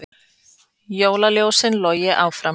Jólaljósin logi áfram